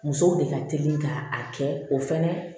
Musow de ka teli ka a kɛ o fɛnɛ ye